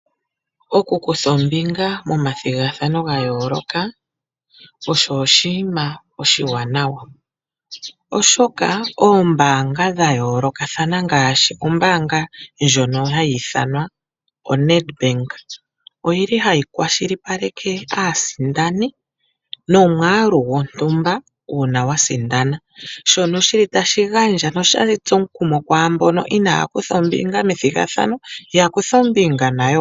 Oku kutha ombinga momathigathano ga yooloka, osho oshinima oshiwanawa. Oshoka oombanga dhayoolokathana ngaashi ombaanga ndjono ha yi ithanwa oNedbank oyi li hayi kwashilipaleka aasindani nomwaalu gontumba uuna wasindana. Shono shili tashi gandja nota shitsu omukumo kwaamboka inaya kutha ombinga methigathano, ya kuthe ombinga nayo woo.